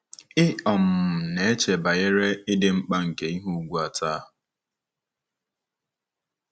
Ị̀ um na-eche banyere ịdị mkpa nke ihe ùgwù a taa?